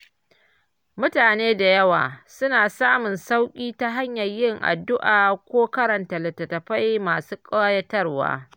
Mutane da yawa suna samun sauƙi ta hanyar yin addu’a ko karanta littattafai masu kayatarwa.